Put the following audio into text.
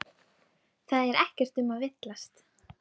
Það er ekkert um að villast.